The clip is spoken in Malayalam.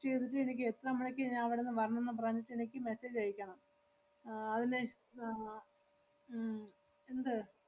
എനിക്ക് എത്ര മണിക്ക് ഞാ~ അവടന്ന് വരണന്ന് പറഞ്ഞിട്ട് എനിക്ക് message അയക്കണം. ആഹ് അതിനെ~ ആഹ് ഉം എന്ത്?